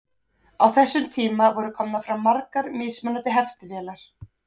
Á þessum tíma voru komnar fram margar mismunandi heftivélar.